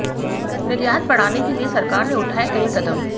निर्यात बढ़ाने के लिए सरकार ने उठाए कई कदम